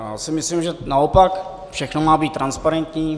Já si myslím, že naopak, všechno má být transparentní.